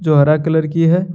हरा कलर की है।